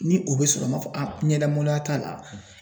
Ni o bɛ sɔrɔ ,n b'a a fɔ a ɲɛda maloya t'a la.